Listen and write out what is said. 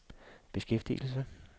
beskæftigelse